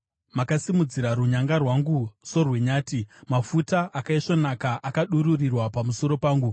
Makasimudzira runyanga rwangu sorwenyati; mafuta akaisvonaka akadururirwa pamusoro pangu.